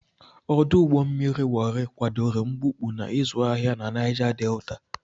Ọdụ ụgbọ mmiri Wori kwadoro mbupu na ịzụ ahịa na Naija Delta.